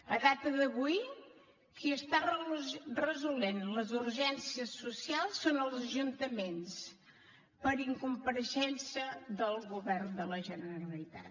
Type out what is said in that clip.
a data d’avui qui està resolent les urgències socials són els ajuntaments per incompareixença del govern de la generalitat